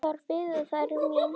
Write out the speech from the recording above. Þar biðu þær mín.